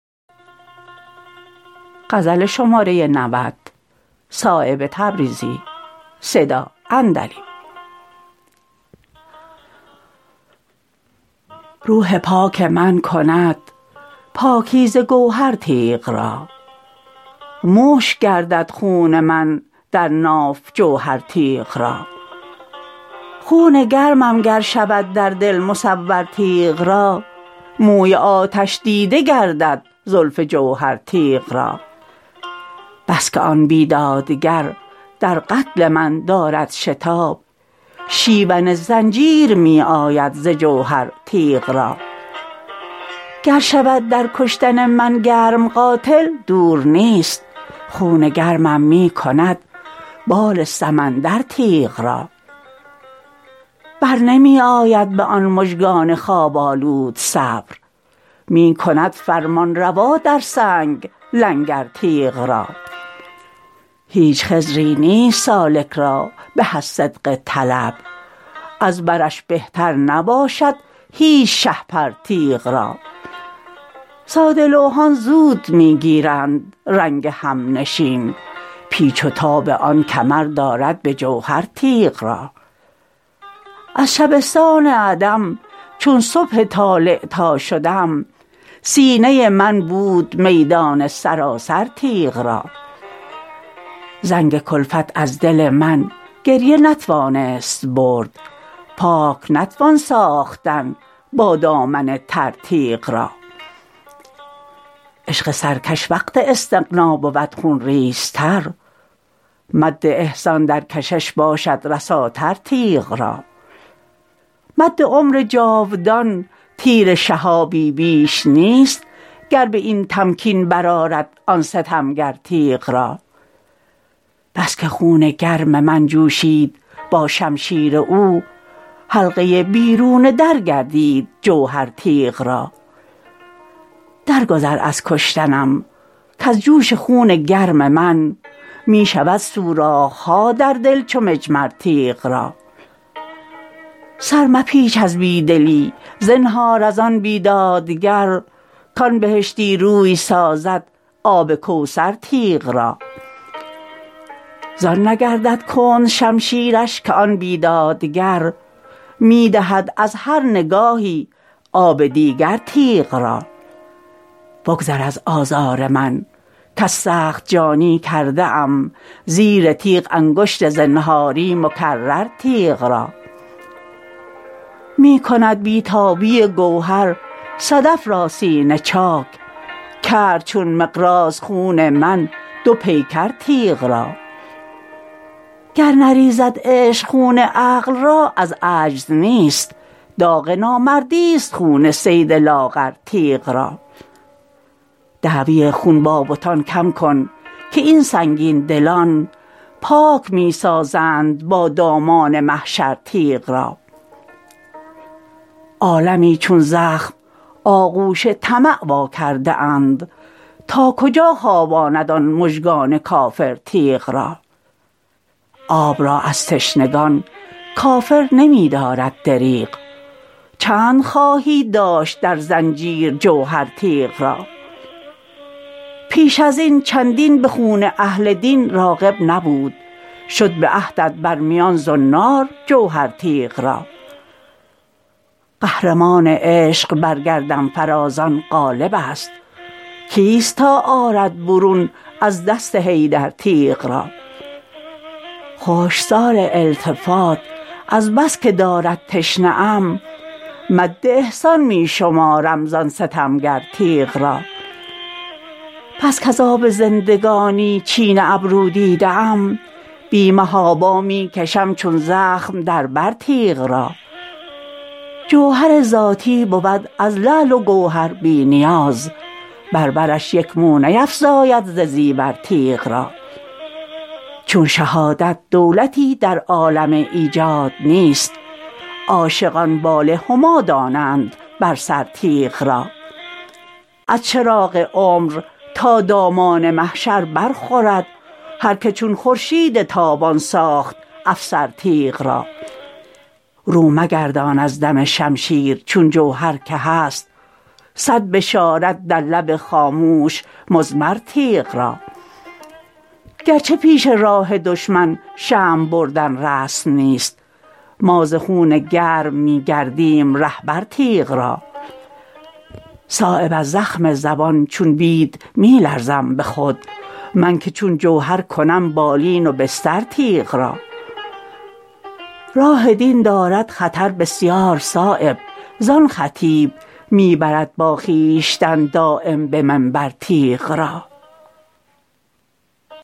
روح پاک من کند پاکیزه گوهر تیغ را مشک گردد خون من در ناف جوهر تیغ را خون گرمم گر شود در دل مصور تیغ را موی آتش دیده گردد زلف جوهر تیغ را بس که آن بیدادگر در قتل من دارد شتاب شیون زنجیر می آید ز جوهر تیغ را گر شود در کشتن من گرم قاتل دور نیست خون گرمم می کند بال سمندر تیغ را برنمی آید به آن مژگان خواب آلود صبر می کند فرمانروا در سنگ لنگر تیغ را هیچ خضری نیست سالک را به از صدق طلب از برش بهتر نباشد هیچ شهپر تیغ را ساده لوحان زود می گیرند رنگ همنشین پیچ و تاب آن کمر دارد به جوهر تیغ را از شبستان عدم چون صبح طالع تا شدم سینه من بود میدان سراسر تیغ را زنگ کلفت از دل من گریه نتوانست برد پاک نتوان ساختن با دامن تر تیغ را عشق سرکش وقت استغنا بود خونریزتر مد احسان در کشش باشد رساتر تیغ را مد عمر جاودان تیر شهابی بیش نیست گر به این تمکین برآرد آن ستمگر تیغ را بس که خون گرم من جوشید با شمشیر او حلقه بیرون در گردید جوهر تیغ را در گذر از کشتنم کز جوش خون گرم من می شود سوراخ ها در دل چو مجمر تیغ را سر مپیچ از بی دلی زنهار ازان بیدادگر کان بهشتی روی سازد آب کوثر تیغ را زان نگردد کند شمشیرش که آن بیدادگر می دهد از هر نگاهی آب دیگر تیغ را بگذر از آزار من کز سخت جانی کرده ام زیر تیغ انگشت زنهاری مکرر تیغ را می کند بی تابی گوهر صدف را سینه چاک کرد چون مقراض خون من دو پیکر تیغ را گر نریزد عشق خون عقل را از عجز نیست داغ نامردی است خون صید لاغر تیغ را دعوی خون با بتان کم کن که این سنگین دلان پاک می سازند با دامان محشر تیغ را عالمی چون زخم آغوش طمع وا کرده اند تا کجا خواباند آن مژگان کافر تیغ را آب را از تشنگان کافر نمی دارد دریغ چند خواهی داشت در زنجیر جوهر تیغ را پیش ازین چندین به خون اهل دین راغب نبود شد به عهدت بر میان زنار جوهر تیغ را قهرمان عشق بر گردنفرازان غالب است کیست تا آرد برون از دست حیدر تیغ را خشکسال التفات از بس که دارد تشنه م مد احسان می شمارم زان ستمگر تیغ را بس کز آب زندگانی چین ابرو دیده ام بی محابا می کشم چون زخم در بر تیغ را جوهر ذاتی بود از لعل و گوهر بی نیاز بر برش یک مو نیفزاید ز زیور تیغ را چون شهادت دولتی در عالم ایجاد نیست عاشقان بال هما دانند بر سر تیغ را از چراغ عمر تا دامان محشر برخورد هر که چون خورشید تابان ساخت افسر تیغ را رو مگردان از دم شمشیر چون جوهر که هست صد بشارت در لب خاموش مضمر تیغ را گرچه پیش راه دشمن شمع بردن رسم نیست ما ز خون گرم می گردیم رهبر تیغ را صایب از زخم زبان چون بید می لرزم به خود من که چون جوهر کنم بالین و بستر تیغ را راه دین دارد خطر بسیار صایب زان خطیب می برد با خویشتن دایم به منبر تیغ را